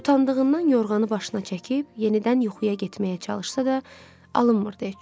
Utandığından yorğanı başına çəkib, yenidən yuxuya getməyə çalışsa da, alınmırdı heç cür.